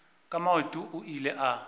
ka maoto o ile a